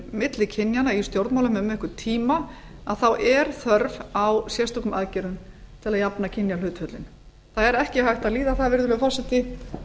milli kynjanna í stjórnmálum um einhvern tíma þá er þörf á sérstökum aðgerða til að jafna kynjahlutföllin það er ekki hægt að líða það virðulegi forseti